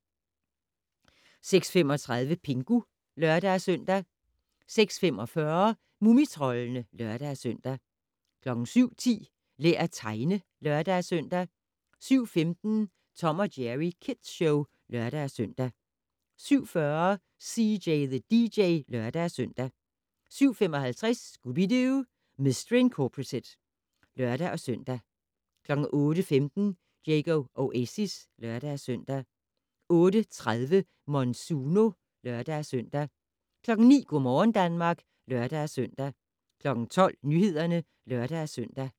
06:35: Pingu (lør-søn) 06:45: Mumitroldene (lør-søn) 07:10: Lær at tegne (lør-søn) 07:15: Tom & Jerry Kids Show (lør-søn) 07:40: CJ the DJ (lør-søn) 07:55: Scooby-Doo! Mistery Incorporated (lør-søn) 08:15: Diego Oasis (lør-søn) 08:30: Monsuno (lør-søn) 09:00: Go' morgen Danmark (lør-søn) 12:00: Nyhederne (lør-søn)